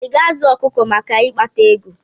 I ga-azụ ọkụkọ maka ikpata ego?